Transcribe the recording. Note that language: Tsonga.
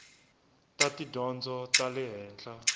ta tidyondzo ta le henhla